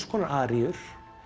konar aríur